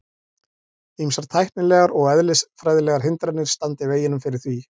Ýmsar tæknilegar og eðlisfræðilegar hindranir standi í veginum fyrir því.